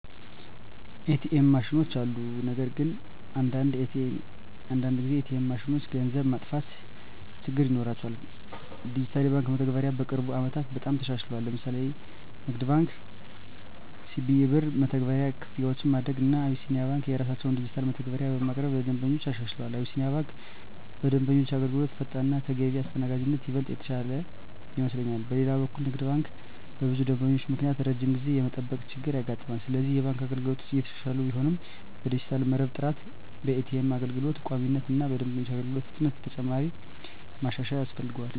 ኤ.ቲ.ኤም ማሽኖች አሉ። ነገር ግን አንዳንድ ጊዜ ኤ.ቲ.ኤም ማሽኖች ገንዘብ መጥፋት ችግር ይኖራቸዋል። ዲጂታል የባንክ መተግበሪያዎች በቅርብ ዓመታት በጣም ተሻሽለዋል። ለምሳሌ ንግድ ባንክ(CBE) በCBE Birr መተግበሪያ ክፍያዎችን ማድረግ፣ እና አቢሲኒያ ባንክ የራሳቸውን ዲጂታል መተግበሪያዎች በማቅረብ ለደንበኞች አሻሽለዋል። አቢሲኒያ ባንክ በደንበኞች አገልግሎት ፈጣንነት እና ተገቢ አስተናጋጅነት ይበልጥ የተሻለ ይመስለኛል። በሌላ በኩል ንግድ ባንክ በብዙ ደንበኞች ምክንያት ረጅም ጊዜ የመጠበቅ ችገር ያጋጥማል፤ ስለዚህ የባንክ አገልግሎቶች እየተሻሻሉ ቢሆንም በዲጂታል መረብ ጥራት፣ በኤ.ቲ.ኤም አገልግሎት ቋሚነት እና በደንበኞች አገልግሎት ፍጥነት ተጨማሪ ማሻሻያ ያስፈልጋል።